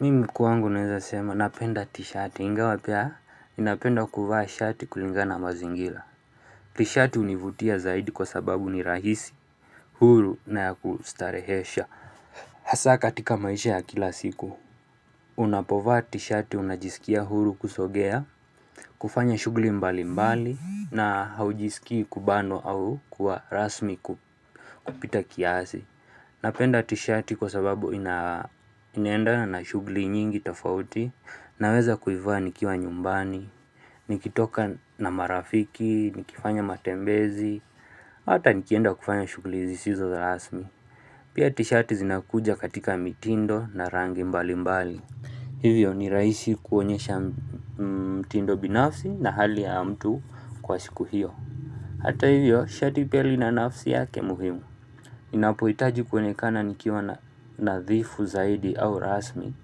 Mimi kuangu naweza sema napenda t-shirt inga wapya inapenda kuvaa shirt kulinga na mazingila T-shirt univutia zaidi kwa sababu ni rahisi. Huru na ya kustarehesha Hasaka atika maisha ya kila siku. Unapovaa t-shirt unajisikia huru kusogea. Kufanya shugli mbali mbali na haujisikia kubano au kuwa rasmi kupita kiasi. Napenda t-shirt kwa sababu inenda na shugli nyingi tafauti. Naweza kuivuwa nikiwa nyumbani, nikitoka na marafiki, nikifanya matembezi, hata nikienda kufanya shugulizi sizo rasmi. Pia tishati zinakuja katika mitindo na rangi mbali mbali. Hivyo ni raisi kuonyesha mtindo binafsi na hali ya mtu kwa siku hiyo. Hata hivyo shati peli na nafsi yake muhimu. Ninapuitaji kuonekana nikiwa na nadhifu zaidi au rasmi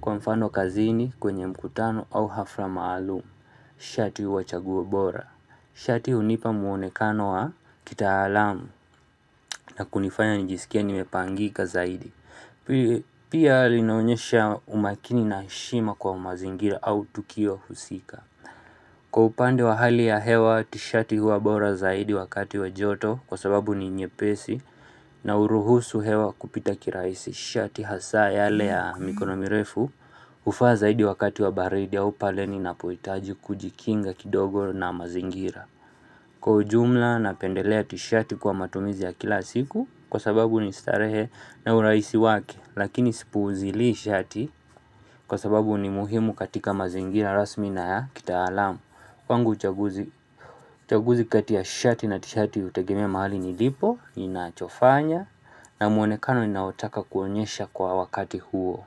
kwa mfano kazini kwenye mkutano au hafra maalumu, shati huwa chaguwa bora. Shati hu nipa muonekano wa kita alamu na kunifanya njisikia nimepangika zaidi. Pia linaonyesha umakini na shima kwa mazingira au tukio husika. Kwa upande wa hali ya hewa tishati huwa bora zaidi wakati wa joto kwa sababu ni nyepesi na uruhusu hewa kupita kiraisi shati hasa ya lea mikonomirefu ufa zaidi wakati wa baridi ya upaleni na poetaji kujikinga kidogo na mazingira. Kwa ujumla na pendelea tishati kwa matumizi ya kila siku kwa sababu ni istarehe na uraisi wake lakini sipuuzilii shati kwa sababu ni muhimu katika mazingina rasmi na ya kita alamu. Wangu chaguzi kati ya shati na tishati utegemea mahali ni lipo, inachofanya na muonekano ninaotaka kuonyesha kwa wakati huo.